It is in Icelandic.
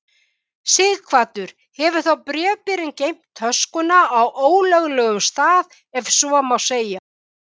Sighvatur: Hefur þá bréfberinn geymt töskuna á ólöglegum stað ef svo má segja?